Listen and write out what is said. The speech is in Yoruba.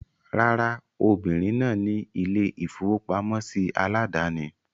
Rárá, obìrin náà ni ilé-ìfowópamọ́sí aládàání.